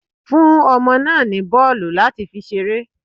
Fún ọmọ náà ní bọ́ọ̀lù láti fi ṣeré.